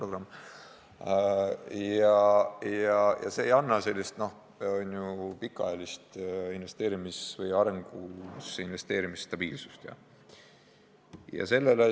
See kõik ei anna sellist pikaajalist arengusse investeerimise stabiilsust.